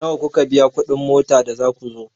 Nawa kuka biya kuɗin mota da za ku zo?